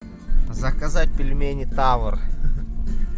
заказать пельмени тавр